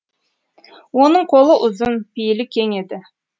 оның қолы ұзын пейілі кең еді